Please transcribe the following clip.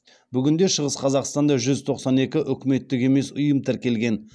бүгінде шығыс қазақстанда жүз тоқсан екі үкіметтік емес ұйым тіркелген